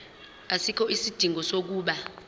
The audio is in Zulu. asikho isidingo sokuba